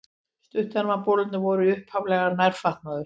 Stuttermabolir voru upphaflega nærfatnaður.